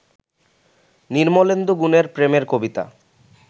নির্মলেন্দু গুণের প্রেমের কবিতা